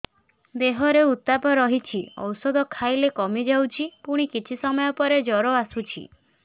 ଦେହର ଉତ୍ତାପ ରହୁଛି ଔଷଧ ଖାଇଲେ କମିଯାଉଛି ପୁଣି କିଛି ସମୟ ପରେ ଜ୍ୱର ଆସୁଛି